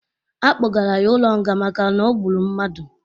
A kpụgara ya ụlo nga maka n'ọgbụrụ mmadụ